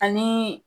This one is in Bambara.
Ani